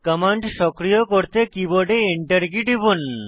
command সক্রিয় করতে কীবোর্ডে Enter কী টিপুন